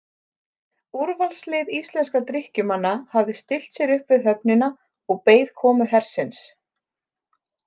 Úrvalslið íslenskra drykkjumanna hafði stillt sér upp við höfnina og beið komu hersins.